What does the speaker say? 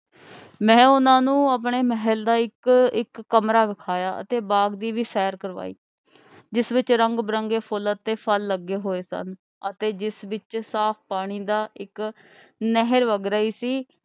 ਮੈਂ ਉਹਨਾ ਨੂੰ ਆਪਣੇ ਮਹਿਲ ਦਾ ਇਕ ਇੱਕ ਕਮਰਾ ਵਿਖਾਇਆ ਅਤੇ ਬਾਗ ਦੀ ਵੀ ਸੈਰ ਕਰਵਾਈ, ਜਿਸ ਵਿਚ ਰੰਗ ਬਰੰਗੇ ਫੁੱਲ ਅਤੇ ਫ਼ਲ ਲੱਗੇ ਹੋਏ ਸਨ ਅਤੇ ਜਿਸ ਵਿਚ ਸਾਫ ਪਾਣੀ ਦਾ ਇਕ ਨਹਿਰ ਵੱਗ ਰਹੀ ਸੀ।